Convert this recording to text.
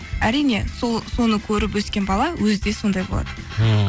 әрине соны көріп өскен бала өзі де сондай болады ммм